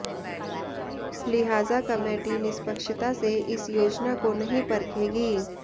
लिहाजा कमेटी निष्पक्षता से इस योजना को नहीं परखेगी